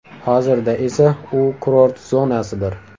Hozirda esa u kurort zonasidir.